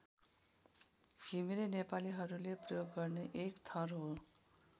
घिमिरे नेपालीहरूले प्रयोग गर्ने एक थर हो।